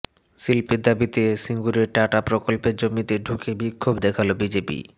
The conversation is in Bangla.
শিল্পের দাবিতে সিঙুরে টাটা প্রকল্পের জমিতে ঢুকে বিক্ষোভ দেখাল বিজেপি